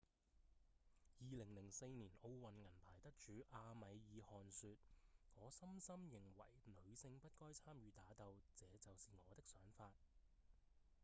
2004年奧運銀牌得主阿米爾·汗說：「我深深認為女性不該參與打鬥這就是我的想法」